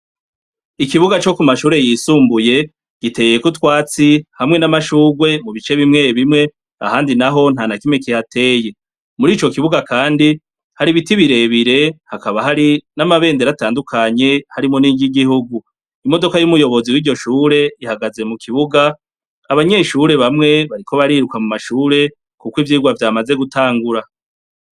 Ikibuga co kumashure yisumbuye giteyeko utwatsi hamwe namashurwe mubice bimwe bimwe ahandi naho ntanakimwe kihateye muri icokibuga kandi hari ibiti birebire hakaba hari namabendera atandukanye arimwo niryigihugu imodoka yumuyobozi wiryoshure ihagaze mukibuga abanyeshure bamwe bakiriko bariruka mumashure kuko ivyirwa vyamaze gutangura